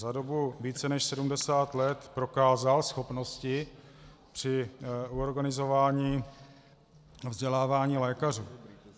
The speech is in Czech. Za dobu více než 70 let prokázal schopnosti při organizování vzdělávání lékařů.